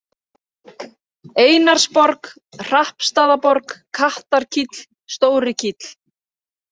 Einarsborg, Hrappstaðaborg, Kattarkíll, Stórikíll